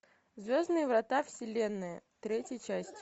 звездные врата вселенной третья часть